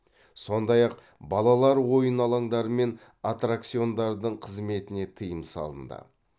сондай ақ балалар ойын алаңдары мен аттракциондардың қызметіне тыйым салынды